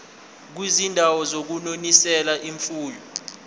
kwizindawo zokunonisela imfuyo